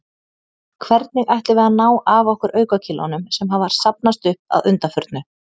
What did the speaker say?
Hvernig ætlum við að ná af okkur aukakílóunum, sem hafa safnast upp að undanförnu?